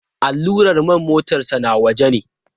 Allurar man motarsa ​​na waje ne.